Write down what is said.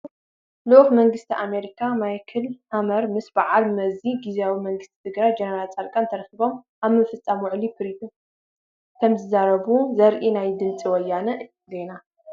ልኡኽ መንግስቲ ኣሜሪካ ማይክ ሓመር ምስ በዓል መዚ ግዚያዊ መንግስቲ ትግራይ ጀነራል ፃድቃን ተራኺቦም ኣብ ምፍፃም ውዕሊ ፕሪቶ ከምዝተዛረቡ ዘርኢ ናይ ድምፂ ወያነ ዜና፡፡